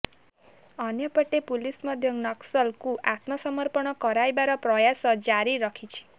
ଅନ୍ୟପଟେ ପୁଲିସ ମଧ୍ୟ ନକ୍ସଲଙ୍କୁ ଆତ୍ମସମର୍ପଣ କରାଇବାର ପ୍ରୟାସ ଜାରି ରଖିଛି